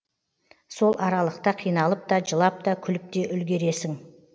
сол аралықта қиналып та жылап та күліп те үлгересің